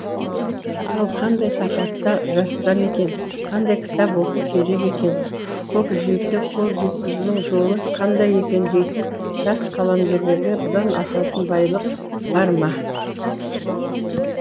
ал қандай тақырыпта жазсам екен қандай кітап оқу керек екен көкжиекке қол жеткізудің жолы қандай екен дейтін жас қаламгерлерге бұдан асатын байлық бар ма